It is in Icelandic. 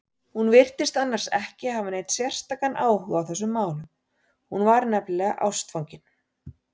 Hún virtist annars ekki hafa neinn sérstakan áhuga á þessum málum, hún var nefnilega ástfangin.